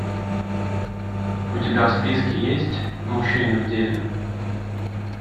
у тебя в списке есть мужчины в деле